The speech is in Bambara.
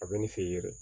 A bɛ ni se yɛrɛ